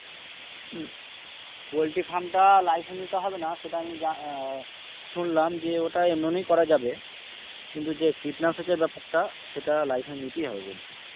হম poultry farm টা licence নিতে হবে না সেটা আমি জান আহ শুনলাম যে ওটা এমনি করা যাবে কিন্তু যে কীটনাশকের ব্যাপারটা সেটা licence নিতেই হবে বলছে।